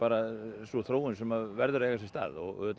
sú þróun sem verður að eiga sér stað og auðvitað